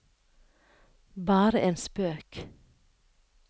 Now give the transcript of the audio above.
bare en spøk